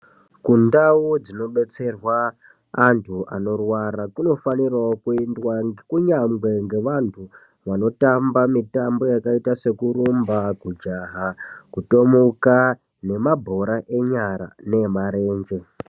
Kundau dzinobetserwa antu anorwara kunofanirawo kuendwa kunyange ngevantu vanotamba mitambo yakaita sekurumba, kujaha, kutomuka neku nemabhora enyara ne marenje.